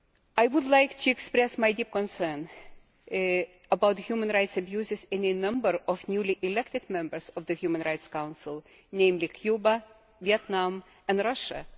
I would like to express my deep concern about human rights abuses in a number of newly elected members of the Human Rights Council, namely Cuba, Vietnam and Russia.